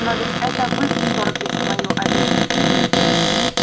но ведь это вы вторглись в мою обитель